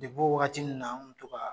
U bɔ waati wagati na u cogoya